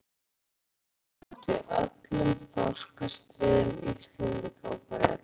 Varðskipið Þór tók þátt í öllum þorskastríðum Íslendinga og Breta.